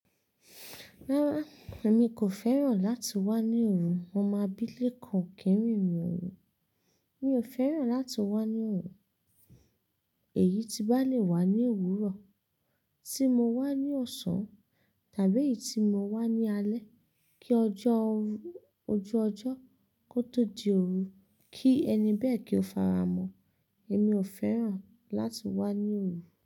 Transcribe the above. Rárá, èmi kò fẹ́ràn láti wá ní òru, mo máa bi lékan kì í rìn òru. Mi ò fẹ́ràn láti wá ní òru, èyí ti bá le wà ní òwúrọ̀ tí mo wá ní ọ̀sán tàbí èyí tí mo wá ní alé kí ojú ọjọ́ kó tó di òru kí ẹni bẹ́ẹ̀ kí ó fara mọ́. Èmi ò fẹ́ràn láti wá ní òru.